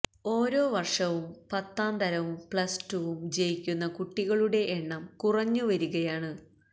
ഓരോ വര്ഷവും പത്താംതരവും പ്ലസ്ടുവും ജയിക്കുന്ന കുട്ടികളുടെ എണ്ണം കുറഞ്ഞു വരികയാണ്